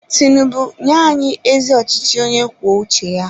Tinubu nye anyị ezi ọchịchị onye kwuo uche ya!